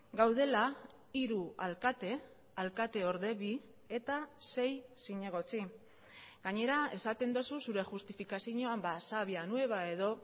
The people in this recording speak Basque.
gaudela hiru alkate alkateorde bi eta sei zinegotzi gainera esaten duzu zure justifikazioan sabia nueva edo